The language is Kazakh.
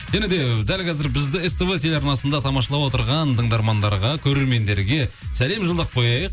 және де дәл қазір бізді ств телеарнасында тамашалап отырған тыңдармандарға көрермендерге сәлем жолдап қояйық